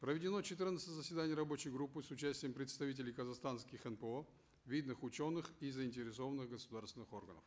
проведено четырнадцать заседаний рабочей группы с участием представителей казахстанских нпо видных ученых и заинтересованных государственных органов